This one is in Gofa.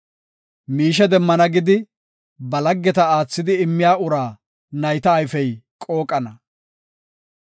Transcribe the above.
Miishe demmana gidi, ba laggeta aathidi immiya uraa nayta ayfey qooqana.